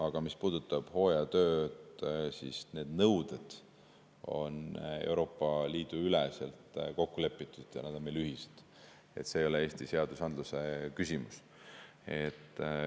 Aga mis puudutab hooajatööd, siis need nõuded on Euroopa Liidu üleselt kokku lepitud ja nad on meil ühised, see ei ole Eesti seadusandluse küsimus.